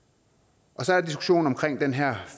så er der diskussionen om den her